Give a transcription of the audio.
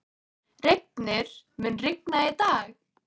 Reifnir, mun rigna í dag?